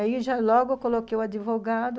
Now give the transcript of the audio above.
Aí já logo eu coloquei o advogado.